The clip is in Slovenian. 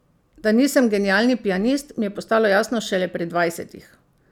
Da nisem genialni pianist, mi je postalo jasno šele pri dvajsetih.